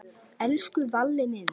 Elsku Valli minn.